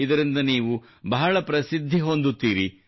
ಇದರಿಂದ ನೀವು ಬಹಳ ಪ್ರಸಿದ್ಧಿ ಹೊಂದುತ್ತೀರಿ